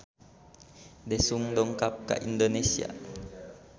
Daesung dongkap ka Indonesia